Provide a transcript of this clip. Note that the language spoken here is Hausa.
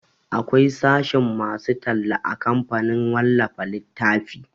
Akwai sashen masu talla a kamfanin wallafa littafi